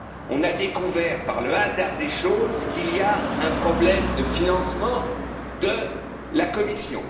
On découvre à présent, par le hasard des choses, qu'il y a un problème de financement à la Commission.